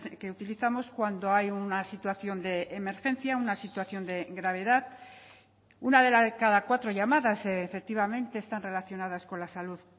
que utilizamos cuando hay una situación de emergencia una situación de gravedad una de la de cada cuatro llamadas efectivamente están relacionadas con la salud